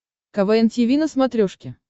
квн тиви на смотрешке